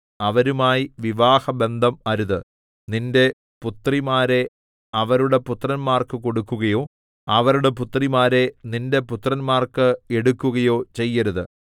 അവരുമായി വിവാഹബന്ധം അരുത് നിന്റെ പുത്രിമാരെ അവരുടെ പുത്രന്മാർക്ക് കൊടുക്കുകയോ അവരുടെ പുത്രിമാരെ നിന്റെ പുത്രന്മാർക്ക് എടുക്കുകയോ ചെയ്യരുത്